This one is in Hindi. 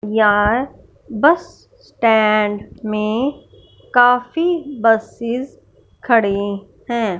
याय बस स्टैंड में काफी बसेस खड़े है।